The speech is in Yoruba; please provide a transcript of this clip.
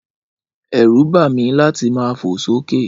Ẹrún ba mí láti ma fo so ke